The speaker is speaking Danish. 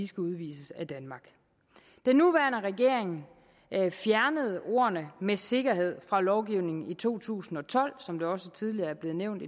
skal udvises af danmark den nuværende regering fjernede ordene med sikkerhed fra lovgivningen i to tusind og tolv som det også tidligere er blevet nævnt